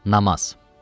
Namaz.